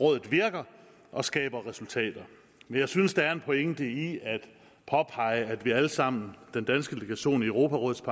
rådet virker og skaber resultater men jeg synes der er en pointe i at påpege at vi alle sammen den danske delegation i europarådets